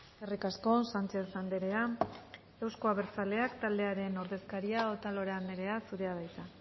eskerrik asko sánchez andrea euzko abertzaleak taldearen ordezkaria otalora andrea zurea da hitza